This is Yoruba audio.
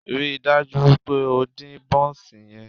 Ríi dájú wípé o dín bónsì yen